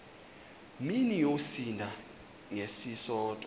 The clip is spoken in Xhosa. mini yosinda ngesisodwa